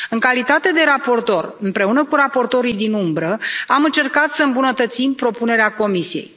În calitate de raportor, împreună cu raportorii din umbră, am încercat să îmbunătățesc propunerea Comisiei.